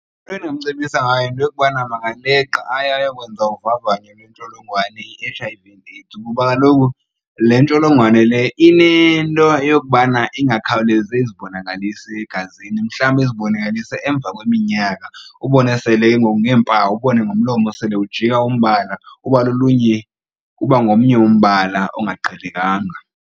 Endingamcebisa ngayo yinto yokubana makaleqe aye ayokwenza uvavanyo lwentsholongwane i-H_I_V and AIDS. Kuba kaloku le ntsholongwane le inento yokubana ingakhawulezi izibonakalise egazini mhlawumbi izibonakalise emva kweminyaka, ubone sele ke ngoku ngeempawu ubone ngomlomo sele ujika umbala kuba lolunye, kuba ngomnye umbala ongaqhelekanga.